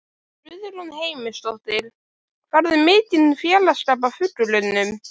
Guðrún Heimisdóttir: Færðu mikinn félagsskap af fuglunum?